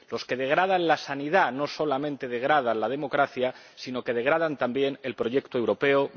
Los que degradan la sanidad no solamente degradan la democracia, sino que degradan también el proyecto europeo.